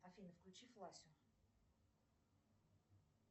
афина включи фласин